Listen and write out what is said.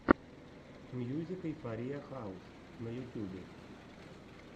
мьюзик эйфориа хаус на ютьюбе